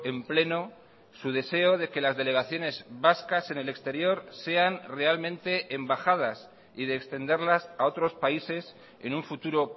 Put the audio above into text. en pleno su deseo de que las delegaciones vascas en el exterior sean realmente embajadas y de extenderlas a otros países en un futuro